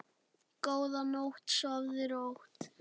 Góða nótt, sofðu rótt.